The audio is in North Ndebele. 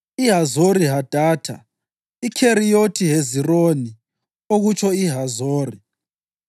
iHazori-Hadatha, iKheriyothi Hezironi (okutsho iHazori),